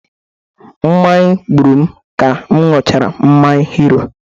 Mmanya gburu m ka m ñyuchara mmanya hero